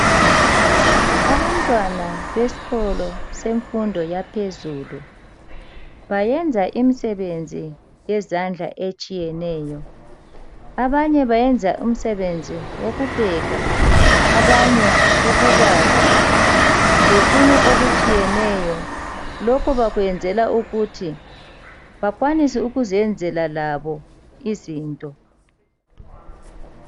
Abantwana besikolo semfundo yaphezulu bayenza imisebenzi yezandla etshiyeneyo. Abanye bayenza umsebenzi wokupheka, abanye ukubaza lokunye okutshiyeneyo. Lokhu bakwenzela ukuthi bakwanise ukuzenzela labo izinto.